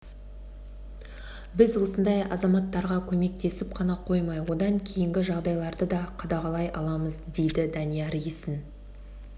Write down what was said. біз осындай азаматтарға көмектесіп қана қоймай одан кейінгі жағдайларды да қадағалай аламыз дейді данияр есін